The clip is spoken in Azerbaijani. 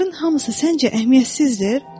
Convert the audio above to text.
Bunların hamısı səncə əhəmiyyətsizdir?